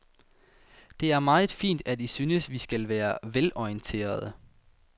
Det er meget fint, at I synes, vi skal være velorienterede.